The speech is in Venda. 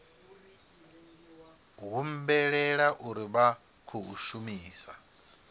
humbulela uri vha khou shumisa